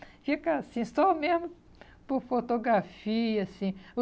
Fica assim, só mesmo por fotografia, assim.